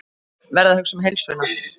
Verð að hugsa um heilsuna.